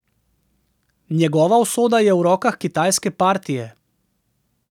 Njegova usoda je v rokah kitajske partije.